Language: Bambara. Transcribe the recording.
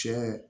Tiɲɛ